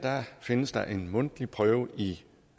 findes der en mundtlig prøve i